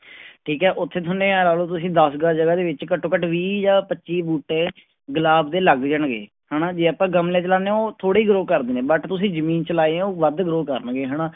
ਠੀਕ ਹੈ ਉੱਥੇ ਤੁਹਾਨੇ ਇਹ ਲਾ ਲਓ ਤੁਸੀਂ ਦਸ ਗਜ਼ ਜਗ੍ਹਾ ਦੇ ਵਿੱਚ ਘੱਟੋ ਘੱਟ ਵੀਹ ਜਾਂ ਪੱਚੀ ਬੂਟੇ ਗੁਲਾਬ ਦੇ ਲੱਗ ਜਾਣਗੇ, ਹਨਾ ਜੇ ਆਪਾਂ ਗਮਲੇ ਚ ਲਾਉਂਦੇ ਹਾਂ ਉਹ ਥੋੜ੍ਹੀ grow ਕਰਦੇ ਨੇ but ਤੁਸੀਂ ਜ਼ਮੀਨ ਚ ਲਾਏ ਆ ਉਹ ਵੱਧ grow ਕਰਨਗੇ ਹਨਾ।